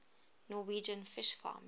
norwegian fish farming